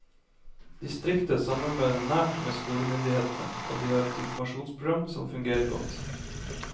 Distriktet samarbeider nært med skolemyndighetene og de har et informasjonsprogram som fungerer godt.